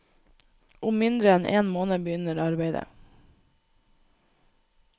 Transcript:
Om mindre enn én måned begynner arbeidet.